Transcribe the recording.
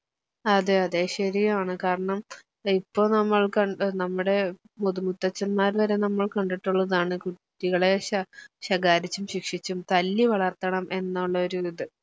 അതെ അതെ ശരിയാണ് കാരണം ഇപ്പോ നമ്മൾ കണ്ട് നമ്മടെ മുതുമുത്തച്ഛൻമാരിൽവരെ നമ്മൾ കണ്ടിട്ടുള്ളതാണ് കുട്ടികളെ ശ ശകാരിച്ചും ശിക്ഷിച്ചും തല്ലിവളർത്തണം എന്നൊള്ള ഒരിത്